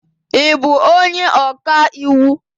Ị bụ onye ọka iwu?